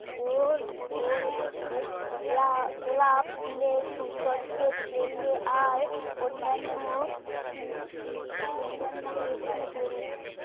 গোল গোল গোলাপ গোলাপ ফুলের সৌন্দর্যের চেয়ে আর অন্যান্য অন্যান্য বেশি জরুরী